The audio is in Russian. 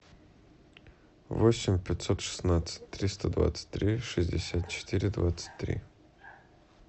восемь пятьсот шестнадцать триста двадцать три шестьдесят четыре двадцать три